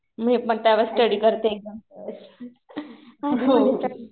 मी पण त्यावेळेस स्टडी करते एक्झामच्या वेळेस. हो.